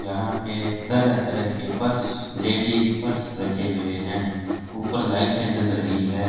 यहां पे तरह तरह के पर्स लेडिस पर्स रखे हुए हैं ऊपर लाइटें जल रही है।